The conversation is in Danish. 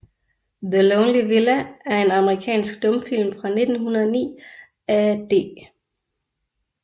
The Lonely Villa er en amerikansk stumfilm fra 1909 af D